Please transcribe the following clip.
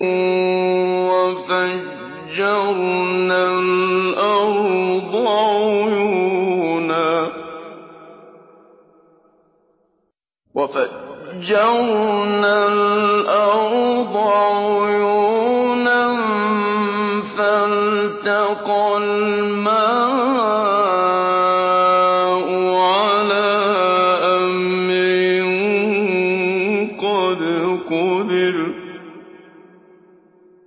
وَفَجَّرْنَا الْأَرْضَ عُيُونًا فَالْتَقَى الْمَاءُ عَلَىٰ أَمْرٍ قَدْ قُدِرَ